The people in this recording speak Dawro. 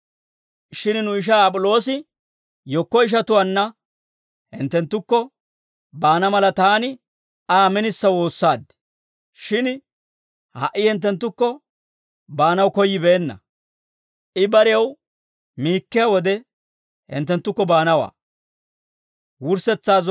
Shin nu ishaa Ap'iloosi yekko ishatuwaanna hinttenttukko baana mala, taani Aa minisa woossaad. Shin ha"i hinttenttukko baanaw koyyibeenna; I barew miikkiyaa wode hinttenttukko baanawaa.